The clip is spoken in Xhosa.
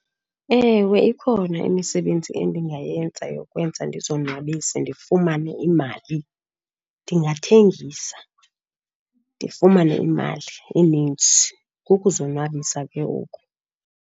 Ewe, ikhona imisebenzi endingayenza yokwenza ndizonwabise ndifumane imali. Ndingathengisa ndifumane imali eninzi. Kukuzonwabisa ke oko.